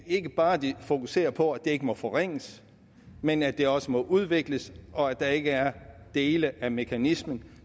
ikke bare fokuserer på at det ikke må forringes men at det også må udvikles og at der ikke er dele af mekanismen